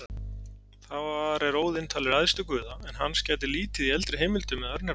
Þar er Óðinn talinn æðstur guða, en hans gætir lítið í eldri heimildum eða örnefnum.